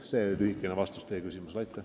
See on lühike vastus teie küsimusele.